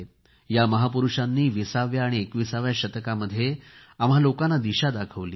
या महापुरूषांनी 20 व्या आणि 21 व्या शतकामध्ये आम्हा लोकांना दिशा दाखवली